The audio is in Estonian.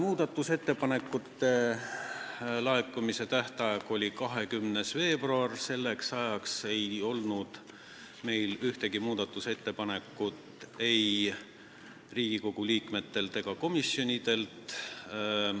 Muudatusettepanekute laekumise tähtaeg oli 20. veebruar, selleks ajaks ei olnud meil ühtegi muudatusettepanekut ei Riigikogu liikmetelt ega komisjonidelt.